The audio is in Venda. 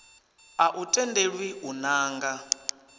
a u tendelwi u nanga